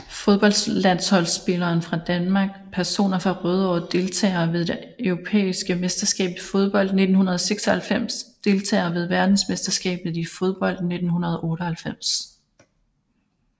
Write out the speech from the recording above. Fodboldlandsholdsspillere fra Danmark Personer fra Rødovre Deltagere ved det europæiske mesterskab i fodbold 1996 Deltagere ved verdensmesterskabet i fodbold 1998